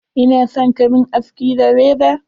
Ina son ka mun aski da reza.